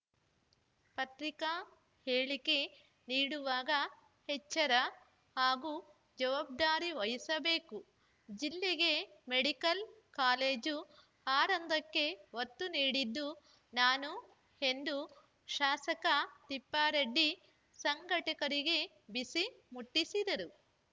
ಪತ್ರಿಕಾ ಹೇಳಿಕೆ ನೀಡುವಾಗ ಎಚ್ಚರ ಹಾಗೂ ಜವಾಬ್ದಾರಿ ವಹಿಸಬೇಕು ಜಿಲ್ಲೆಗೆ ಮೆಡಿಕಲ್‌ ಕಾಲೇಜು ಆರಂಭಕ್ಕೆ ಒತ್ತು ನೀಡಿದ್ದು ನಾನು ಎಂದು ಶಾಸಕ ತಿಪ್ಪಾರೆಡ್ಡಿ ಸಂಘಟಕರಿಗೆ ಬಿಸಿ ಮುಟ್ಟಿಸಿದರು